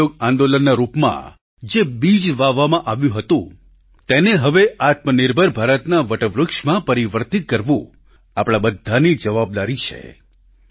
અસહયોગ આંદોલનના રૂપમાં જે બીજ વાવવામાં આવ્યું હતું તેને હવે આત્મનિર્ભર ભારતના વટવૃક્ષમાં પરિવર્તિત કરવું આપણા બધાની જવાબદારી છે